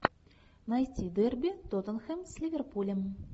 найти дерби тоттенхэм с ливерпулем